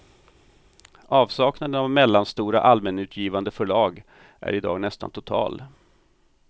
Avsaknaden av mellanstora, allmänutgivande förlag är i dag nästan total.